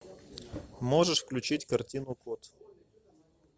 можешь включить картину коте